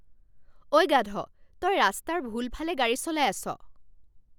ঐ, গাধ। তই ৰাস্তাৰ ভুল ফালে গাড়ী চলাই আছ।